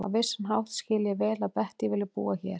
Á vissan hátt skil ég vel að Bettý vilji búa hér.